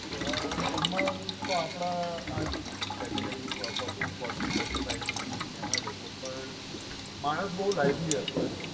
અમ ઉમર તો આપણાં આજ category forty forty forty five ભી એમા જ હતો પણ માણસ બહુ lively હતો એમ